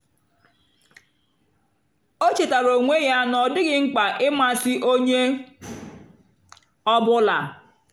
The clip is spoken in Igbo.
ó chétárá ónwé yá nà ọ́ dị́ghị́ mkpà ị̀másị́ ónyé ọ́ bụ́là.